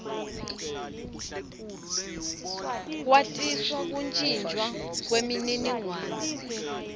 kwatisa kuntjintjwa kwemininingwane